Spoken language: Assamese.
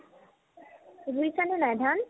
ৰুইছানে নাই ধান ?